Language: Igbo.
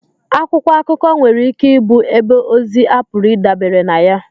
Akwụkwọ akụkọ nwere ike ịbụ ebe ozi a pụrụ ịdabere na ya